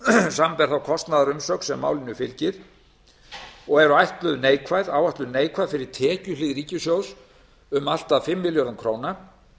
samanber þá kostnaðarumsögn sem málinu fylgir og áætluð neikvæð fyrir tekjuhlið ríkissjóðs séu um allt að fimm milljarða króna